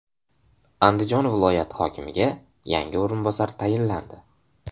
Andijon viloyati hokimiga yangi o‘rinbosar tayinlandi.